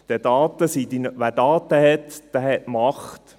Denn wer Daten hat, der hat Macht.